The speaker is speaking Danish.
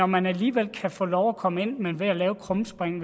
man alligevel kan få lov at komme ind ved at lave det krumspring